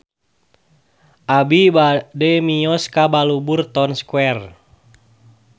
Abi bade mios ka Balubur Town Square